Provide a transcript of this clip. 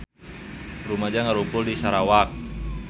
Rumaja ngarumpul di Sarawak